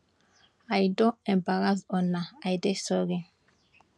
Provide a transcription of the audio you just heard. i don embarrass una i dey sorry